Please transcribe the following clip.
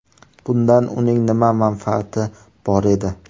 Bundan uning nima manfaati bor edi?